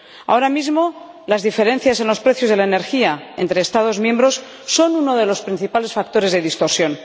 Ahora mismo las diferencias en los precios de la energía entre Estados miembros son uno de los principales factores de distorsión.